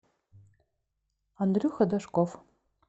андрюха дашков